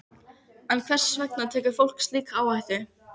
En hvers vegna tekur fólk slíka áhættu?